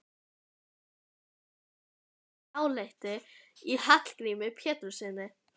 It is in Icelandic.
En hún hafði mikið dálæti á Hallgrími Péturssyni.